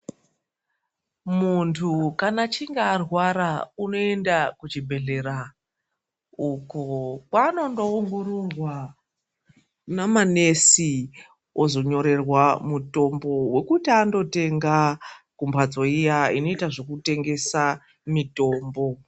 Muntu kana achinge arwara, unoyenda kuchibhedhlera. Uko, kwanondo wungururwa namanesi, ozonyererwa mutombo wokuti andotenga, kumbatso iya inoita zvokutengesa mitombo.